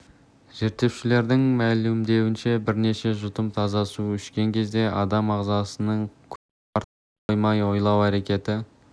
зерттеушілердің мәлімдеуінше бірнеше жұтым таза су ішкен кезде адам ағзасының күш-қуаты артып қана қоймай ойлау әрекеті